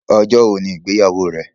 Ọjọ́ wọ̀ ni igbeyáwọ̀ rẹ̀?